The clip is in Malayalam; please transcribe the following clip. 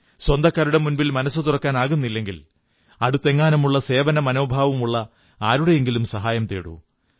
സ്വന്തക്കാരുടെ മുന്നിൽ മനസ്സു തുറക്കാനാകുന്നില്ലെങ്കിൽ അടുത്തെങ്ങാനുമുള്ള സേവനമനോഭാവമുള്ള ആരുടെയെങ്കിലും സഹായം തേടൂ